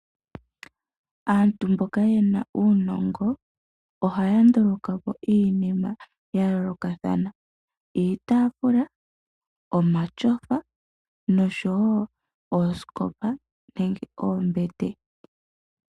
Aantu mboka yena uunongo ohaya ndulukapo iinima yayolokathana iitafula, omatyofa nosho woo oosikopa nenge oombete.